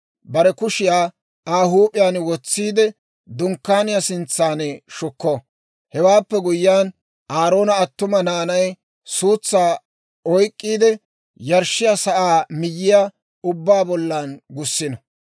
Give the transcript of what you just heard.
bare kushiyaa Aa huup'iyaan wotsiide, Dunkkaaniyaa sintsan shukko. Hewaappe guyyiyaan, Aaroona attuma naanay suutsaa oyk'k'iide, yarshshiyaa sa'aa miyyiyaa ubbaa bollan gussino.